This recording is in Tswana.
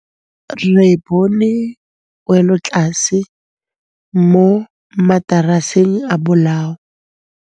Re bone wêlôtlasê mo mataraseng a bolaô.